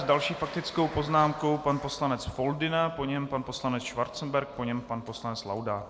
S další faktickou poznámkou pan poslanec Foldyna, po něm pan poslanec Schwarzenberg, po něm pan poslanec Laudát.